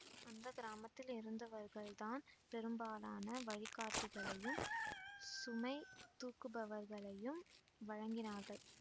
அந்த கிராமத்தில் இருந்தவர்கள்தான் பெரும்பாலான வழிகாட்டிகளையும் சுமை தூக்குபவர்களையும் வழங்கினார்கள்